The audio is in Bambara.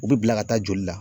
U bi bila ka taa joli la.